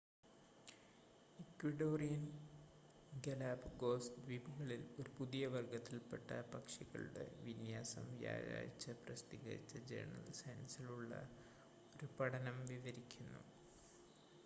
Ecuadorian Galapagos ദ്വീപുകളിൽ ഒരു പുതിയ വർഗ്ഗത്തിൽപ്പെട്ട പക്ഷികളുടെ വിന്യാസം വ്യാഴാഴ്ച്ച പ്രസിദ്ധീകരിച്ച ജേണൽ സയൻസിലുള്ള ഒരു പഠനം വിവരിക്കുന്നു